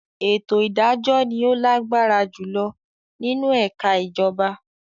“Ètò ìdájọ́” ni ó lágbára jùlọ nínú ẹka ìjọba.